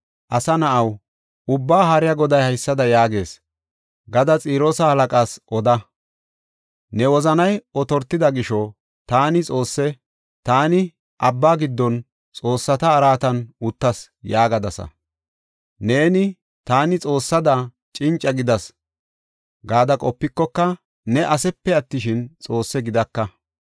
“Asa na7aw, Ubbaa Haariya Goday haysada yaagees gadas Xiroosa halaqa oda: ‘Ne wozanay otortida gisho, taani xoosse; taani abba giddon, xoossata araatan uttas’ yaagadasa. Neeni, ‘Taani xoossada, cinca gidas gada qopikoka ne asepe attishin, xoosse gidaka.